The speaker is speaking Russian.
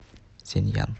сяньян